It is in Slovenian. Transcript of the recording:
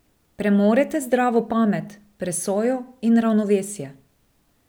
Premorete zdravo pamet, presojo in ravnovesje.